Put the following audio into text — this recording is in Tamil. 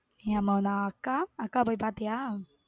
நீயும் அம்மவும்மா அக்கா அக்காவ பொய் பாத்திய?